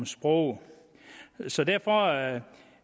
sprog så derfor er